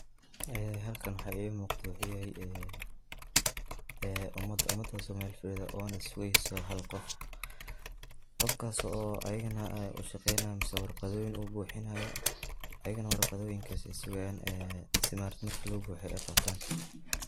Ee halkaan waxa iga muqdaa wuxu yahaay ee ee umaad. umaadas oo mel faadido onaa sugeyso hal qoof. qoofkas oo ayagaana aa uu shaqeynayaan miseh warqadoyiin ubuxiinayo ayaganaa warqadoyiinkas eey sugayaan ee sii maaragte markii loo buxiiyo eey qataan.